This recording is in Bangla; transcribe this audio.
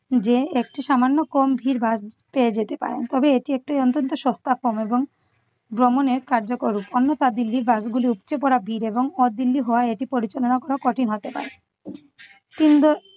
যে একটু সামান্য কম ভিড় বাস পেয়ে যেতে পারেন। তবে এটি একটি অন্তন্ত সস্তাক্ষম এবং ভ্রমণের কার্যকর উ~ অন্যথা দিল্লির bus গুলি উপচে পড়া ভিড় এবং আহ দিল্লি হওয়ায় এটি পরিচালনা করা কঠিন হতে পারে। তিন ব~